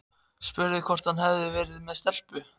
Spurði hvort hann hefði verið með stelpu.